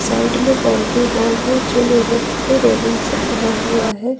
Side में boundary wall है जो लोहे की रेलिंग से बना हुआ है।